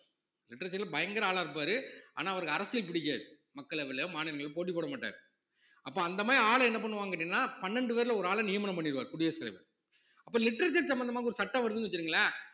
literature ல பயங்கர ஆளா இருப்பாரு ஆனா அவருக்கு அரசியல் பிடிக்காது மக்களவைல, மாநிலங்களவைல போட்டி போடமாட்டாரு அப்ப அந்த மாதிரி ஆளு என்ன பண்ணுவாங்க கேட்டீங்கன்னா பன்னெண்டு பேர்ல ஒரு ஆளை நியமனம் பண்ணிடுவார் குடியரசுத் தலைவர் அப்ப literature சம்பந்தமாக ஒரு சட்டம் வருதுன்னு வச்சுக்கோங்களேன்